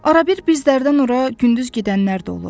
Arada bir bizlərdən oraya gündüz gedənlər də olur.